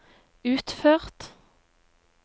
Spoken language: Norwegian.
utført